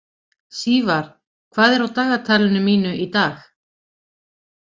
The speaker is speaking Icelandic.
Sívar, hvað er á dagatalinu mínu í dag?